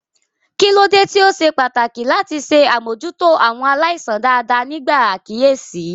Kí ló dé tí ó ṣe pàtàkì láti ṣe àmójútó àwọn aláìsàn dáadáa nígbà àkíyèsí?